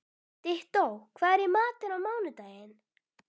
Dittó, hvað er í matinn á mánudaginn?